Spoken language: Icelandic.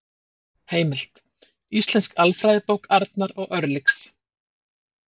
Heimild: Íslensk alfræðibók Arnar og Örlygs.